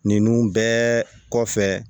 Ninnu bɛɛ kɔfɛ